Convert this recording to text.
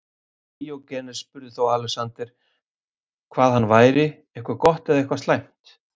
Díógenes spurði þá Alexander hvað hann væri, eitthvað gott eða eitthvað slæmt.